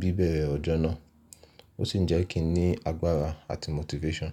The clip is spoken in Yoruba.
bíbẹ̀rẹ̀ ọjọ́ náà, ó sì ń jẹ́ kí n ní agbára àti motivation.